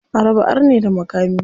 A raba arne da makami.